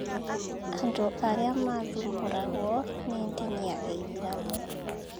Andũ arĩa maathumbũragwo nĩ ndini ya gĩithĩramu